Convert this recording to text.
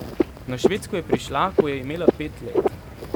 Na Švedsko je prišla, ko je imela pet let.